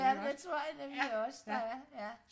ja det tror jeg nemlig også der er ja